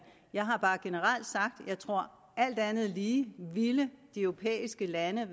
jeg har bare at jeg tror at alt andet lige ville de europæiske lande